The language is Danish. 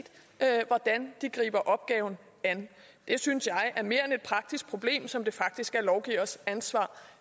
hvordan de griber opgaven an det synes jeg er mere end et praktisk problem som det faktisk er lovgivers ansvar